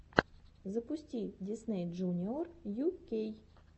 запусти дисней джуниор ю кей